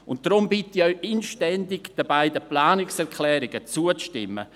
Deshalb bitte ich Sie inständig, den beiden Planungserklärungen zuzustimmen.